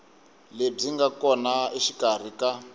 lebyi nga kona exikarhi ka